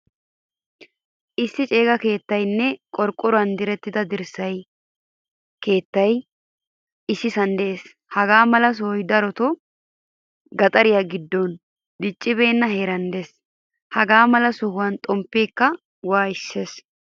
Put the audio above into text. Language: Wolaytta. Issi ceega keettaynne qorqoruwan dirertida dirssay keettaykka issisan de'ees. Hagaa mala sohoy daroto gaxaren giddoninne diccibena heeran de'ees. Hagaa mala sohuwan xomppekka wayssees.